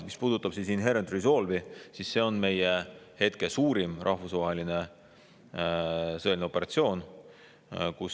Mis puudutab Inherent Resolve'i, siis see on praegu meie suurim rahvusvaheline sõjaline operatsioon.